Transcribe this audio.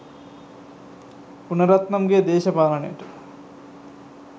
ගුණරත්නම් ගේ දේශපාලනය ට